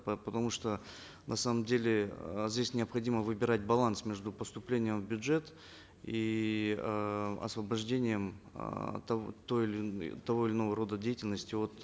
потому что на самом деле э здесь необходимо выбирать баланс между поступлением в бюджет и э освобождением э от той или того или иного рода деятельности от